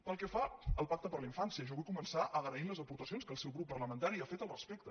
pel que fa al pacte per la infància jo vull començar agraint les aportacions que el seu grup parlamentari ha fet al respecte